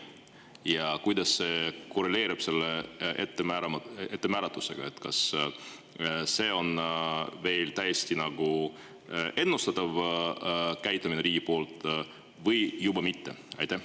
Ja kuidas see korreleerub selle ettemääratusega, kas see on veel täiesti ennustatav käitumine riigi poolt või juba mitte?